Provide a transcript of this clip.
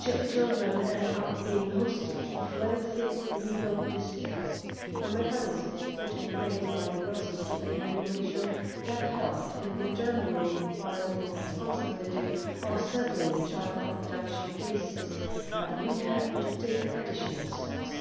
Children end up being hostage of lengthy legal disputes. The mechanisms put in place by the Brussels IIa Regulation have helped in determining parental responsibility or settling child abduction cases, but we have to take additional steps.